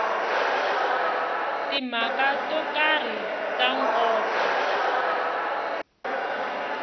timhaka to karhi ta nkoka